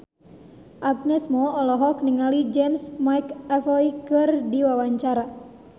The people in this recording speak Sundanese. Agnes Mo olohok ningali James McAvoy keur diwawancara